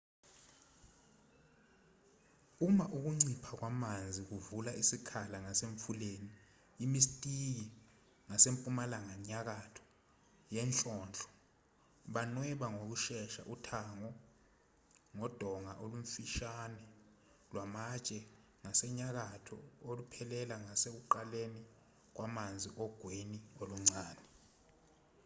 uma ukuncipha kwamanzi kuvula isikhala ngasemfuleni imistiki ngasempumalanga nyakatho yenhlonhlo banweba ngokushesha uthango ngodonga olumfishane lwamatshe ngasenyakatho oluphelela ngasekuqaleni kwamanzi ogwini oluncane